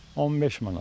15 manat.